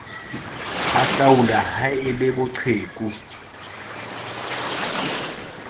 hahlaula ha e le boqheku